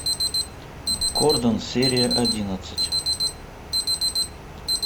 кордон серия одиннадцать